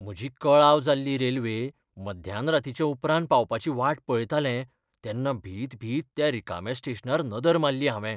म्हजी कळाव जाल्ली रेल्वे मध्यानरातींच्या उपरांत पावपाची वाट पळयतालें तेन्ना भितभीत त्या रिकाम्या स्टेशनार नदर मारली हांवें.